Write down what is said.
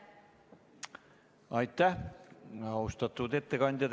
Aitäh, austatud ettekandja!